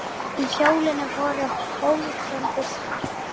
í hjólinu voru hólf sem diskar